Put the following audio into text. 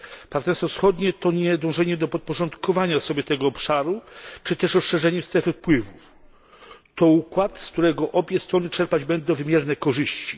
Partnerstwo wschodnie to nie dążenie do podporządkowania sobie tego obszaru czy też rozszerzenia strefy wpływów, to układ, z którego obie strony czerpać będą wymierne korzyści.